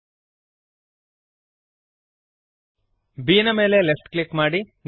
B ನ ಮೇಲೆ left click ಮಾಡಿರಿ